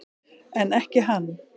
En ekki hann.